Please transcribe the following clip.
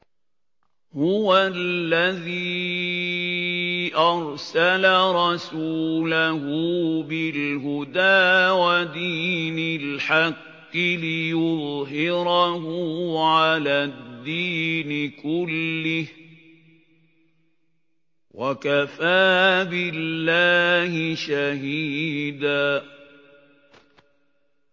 هُوَ الَّذِي أَرْسَلَ رَسُولَهُ بِالْهُدَىٰ وَدِينِ الْحَقِّ لِيُظْهِرَهُ عَلَى الدِّينِ كُلِّهِ ۚ وَكَفَىٰ بِاللَّهِ شَهِيدًا